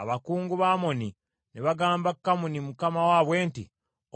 abakungu ba Amoni ne bagamba Kamuni mukama waabwe nti,